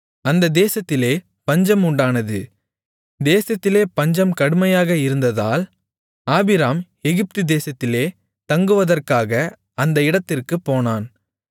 அந்த தேசத்திலே பஞ்சம் உண்டானது தேசத்திலே பஞ்சம் கடுமையாக இருந்ததால் ஆபிராம் எகிப்து தேசத்திலே தங்குவதற்காக அந்த இடத்திற்குப் போனான்